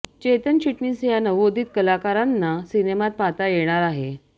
चेतन चिटणीस या नवोदित कलाकारांना सिनेमात पाहता येणार आहे